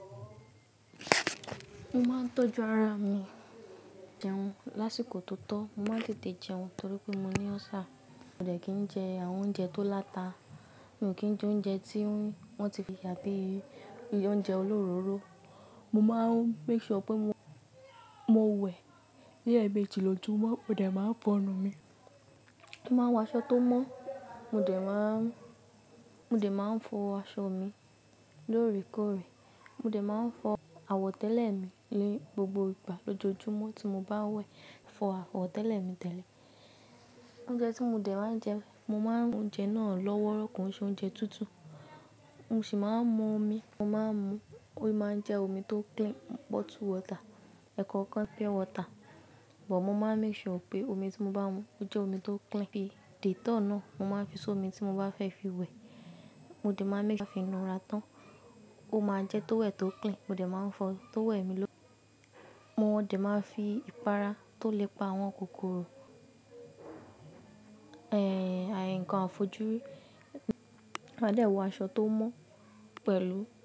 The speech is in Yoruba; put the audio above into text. Mo máa ń tọ́jú ara mi jẹun lásìkò tó tọ́, mo máa ń tètè jẹun torí pé mo ní ulcer. Mo dẹ̀ kin jẹ àwọn oúnjẹ tó láta, mi ò kí ń jẹ oúnjẹ tí wọ́n ti fi yà bí i oúnjẹ olóróró. Mo máa ń make sure pé mo wẹ̀ ni emeji lòjúmo, mo dẹ̀ máa ń fọnu mi. Mo máa ń wọ aṣọ tó mọ́, mo dẹ̀ máa ń, mo dẹ̀ máa ń fọ aṣọ mi lóòrèkóòrè. Mo dẹ̀ máa ń fọ àwọ̀tẹ́lẹ̀ mi ni gbogbo ìgbà lójoojúmọ́ tí mo bá wẹ̀. Fọ àwọ̀tẹ́lẹ̀ mi tẹ́lẹ̀. Oúnjẹ tí mo dẹ̀ máa ń jẹ, mo máa ń mú oúnjẹ náà lọ́wọ́rọkọ, kon se oúnjẹ tútù. Mo sì máa ń mu omi, mo máa ń mu, ó máa ń jẹ́ omi tó clean, bottled water, ẹ̀kọ́ kokan pure water. But mo máa ń make sure pé omi tí mo bá mu ó jẹ́ omi tó clean. Bi dittol náà, mo máa ń fi sómi tí mo bá fẹ́ fi wẹ̀, mo dẹ̀ máa ń make sure kí a fi inura tán, ó máa jẹ́ tówel tó clean. Mo dẹ̀ máa ń fọ tó wẹ̀ mi ló-- mo dẹ̀ máa ń fi ìpara tó lè pa àwọn kòkòrò, nǹkan àfojúrí. Máa dẹ̀ wọ aṣọ tó mọ́ pẹ̀lú.